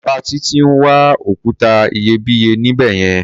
Bàbá Títí ń wa òkúta iyebíye níbẹ̀ yẹn.